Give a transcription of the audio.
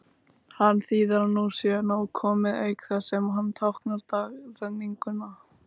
Hann þýðir að nú sé nóg komið, auk þess sem hann táknar dagrenninguna.